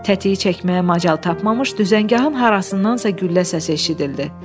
Tətiyi çəkməyə macal tapmamış düzəngahın harasındansa güllə səsi eşidildi.